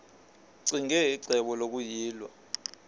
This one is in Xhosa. ccinge icebo lokuyilwa